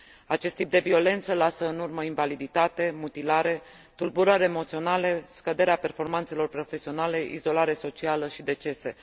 Acest tip de violență lasă în urmă invaliditate, mutilare, tulburări emoționale, scăderea performanțelor profesionale, izolare socială și decese.